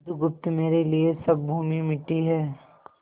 बुधगुप्त मेरे लिए सब भूमि मिट्टी है